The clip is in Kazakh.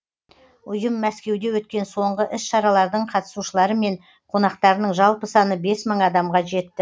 ұйым мәскеуде өткен соңғы іс шаралардың қатысушылары мен қонақтарының жалпы саны бес мың адамға жетті